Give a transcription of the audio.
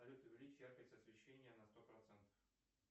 салют увеличь яркость освещения на сто процентов